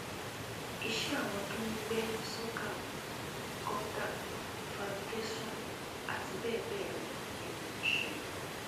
iṣẹ àwọn tó ń gbé sọkàwée gọtà fàǹtẹsán àti bẹẹ bẹẹ lọ ni mò ń ṣe